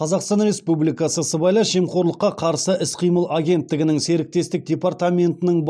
қазақстан республикасы сыбайлас жемқорлыққа қарсы іс қимыл агенттігінің серіктестік департаментінің